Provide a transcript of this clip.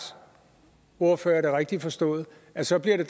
ordfører er det rigtigt forstået at så bliver det